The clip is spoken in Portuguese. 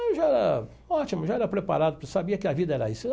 Eu já era ótimo, já era preparado, sabia que a vida era isso.